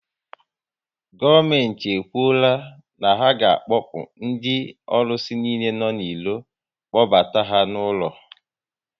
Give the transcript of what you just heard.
Gọọmenti e kwuola na ha ga akpokpu ndị ọrụsị niile nọ n'iro, kpọbata ha ụlọ